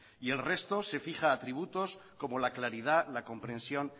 y el resto se fija atributos como la claridad la comprensión